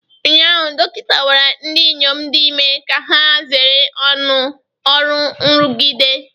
Ụnyaahụ, dọkịta gwara ndị inyom dị ime ka ha zere ọrụ nrụgide